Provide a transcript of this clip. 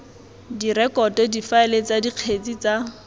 direkoto difaele tsa dikgetse tsa